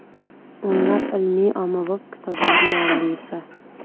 O‘nlab ilmiy-ommabop kitoblar muallifi.